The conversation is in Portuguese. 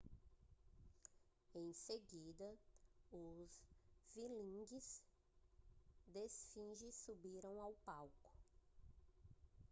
em seguida os whirling dervishes subiram ao palco